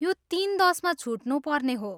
यो तिन दसमा छुट्नुपर्ने हो।